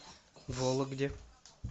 вологде